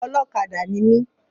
Ọlọ́kadà ni mi.